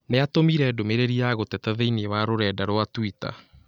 Nĩatũmĩre ndũmĩrĩri ya gũteta thĩinĩ wa rũrenda rũa tũita.